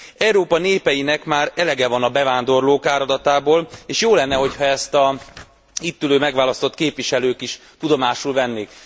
Európa népeinek már elege van a bevándorlók áradatából, és jó lenne, hogy ha ezt az itt ülő megválasztott képviselők is tudomásul vennék.